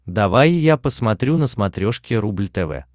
давай я посмотрю на смотрешке рубль тв